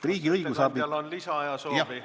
Kas ettekandjal on lisaaja soovi?